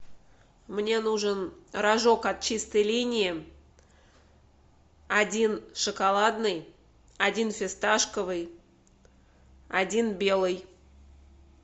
мне нужен рожок от чистой линии один шоколадный один фисташковый один белый